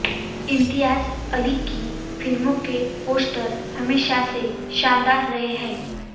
इम्तियाज़ अली की फिल्मों के पोस्टर हमेशा से शानदार रहे हैं